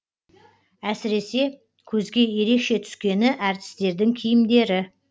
әсіресе көзге ерекше түскені әртістердің киімдері